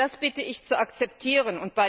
Das bitte ich zu akzeptieren.